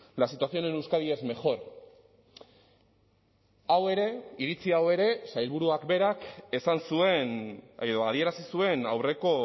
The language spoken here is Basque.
la situación en euskadi es mejor hau ere iritzi hau ere sailburuak berak esan zuen edo adierazi zuen aurreko